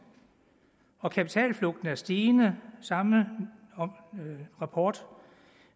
og kapitalflugten er stigende samme rapport